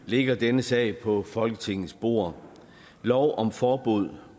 ligger denne sag på folketingets bord lov om forbud